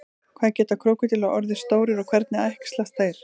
hvað geta krókódílar orðið stórir og hvernig æxlast þeir